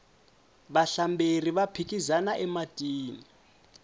vahlamberi va phikizana ematini